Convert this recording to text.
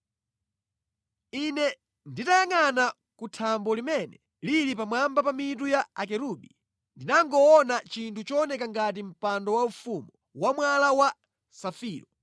Ine nditayangʼana ku thambo limene lili pamwamba pa mitu ya akerubi ndinangoona chinthu chooneka ngati mpando waufumu wa mwala wa safiro.